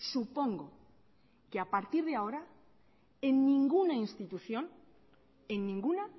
supongo que a partir de ahora en ninguna institución en ninguna